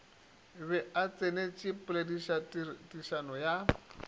be o tsenetše polelotherišano ya